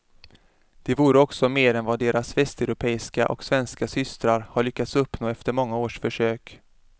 Det vore också mer än vad deras västeuropeiska och svenska systrar har lyckats uppnå efter många års försök.